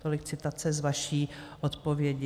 Tolik citace z vaší odpovědi.